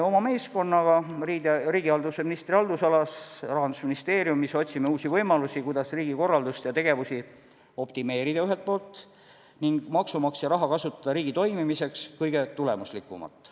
Oma meeskonnaga riigihalduse ministri haldusalas Rahandusministeeriumis otsime uusi võimalusi, kuidas riigikorraldust ja tegevusi optimeerida ning maksumaksja raha kasutada riigi toimimiseks kõige tulemuslikumalt.